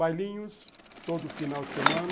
Bailinhos, todo final de semana.